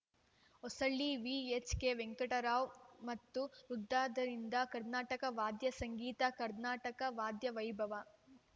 Hosahalli VHK Venkatarao ಮತ್ತು ವುದದರಿಂದ ಕರ್ನಾಟಕ ವಾದ್ಯ ಸಂಗೀತ ಕರ್ನಾಟಕ ವಾದ್ಯ ವೈಭವ